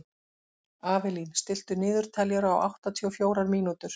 Avelín, stilltu niðurteljara á áttatíu og fjórar mínútur.